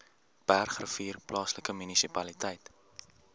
bergrivier plaaslike munisipaliteit